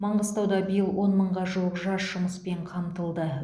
маңғыстауда биыл он мыңға жуық жас жұмыспен қамтылды